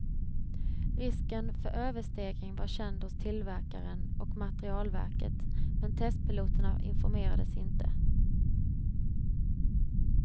Risken för överstegring var känd hos tillverkaren och materielverket, men testpiloterna informerades inte.